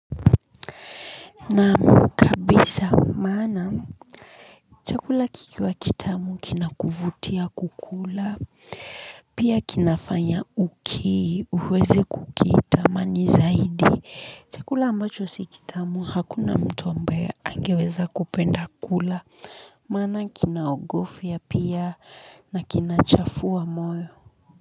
Naam kabisa maana chakula kikiwa kitamu kinakuvutia kukula pia kinafanya uki uweze kukitamani zaidi chakula ambacho si kitamu hakuna mtu ambaye angeweza kupenda kula maana kinaogofya pia na kinachafua moyo.